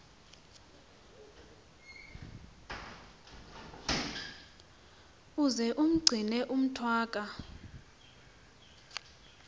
uze umgcine umntwaka